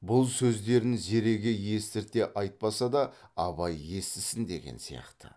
бұл сөздерін зереге естірте айтпаса да абай естісін деген сияқты